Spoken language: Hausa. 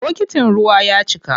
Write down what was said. Bokitin ruwan ya cika.